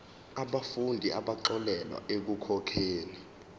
yabafundi abaxolelwa ekukhokheni